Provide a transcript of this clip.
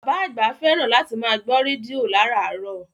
Bàbá àgbà fẹ́ràn láti máa gbọ́ rédíò láràárọ̀